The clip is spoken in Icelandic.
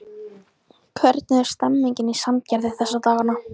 Hvernig er stemmningin í Sandgerði þessa dagana?